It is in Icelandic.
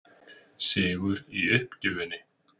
Sigur í uppgjöfinni.